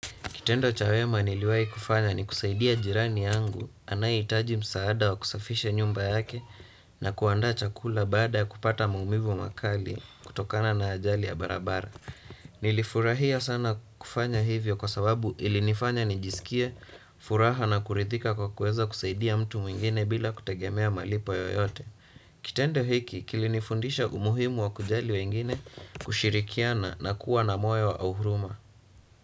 Kitendo cha wema niliwai kufanya ni kusaidia jirani yangu, anayeitaji msaada wa kusafisha nyumba yake na kuandaa chakula baada kupata maumivu makali kutokana na ajali ya barabara. Nilifurahia sana kufanya hivyo kwa sababu ilinifanya nijiskie, furaha na kurithika kwa kuweza kusaidia mtu mwingine bila kutegemea malipo yoyote. Kitendo hiki kilinifundisha umuhimu wa kujali wengine kushirikiana na kuwa na moyo wa uhuruma.